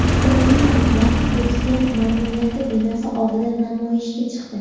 Ukrainaliklar prezident ma’muriyati binosi oldida namoyishga chiqdi.